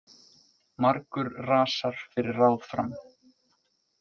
Margur rasar fyrir ráð fram.